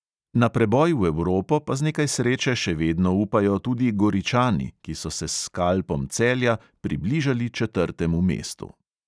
Na preboj v evropo pa z nekaj sreče še vedno upajo tudi goričani, ki so se s skalpom celja približali četrtemu mestu.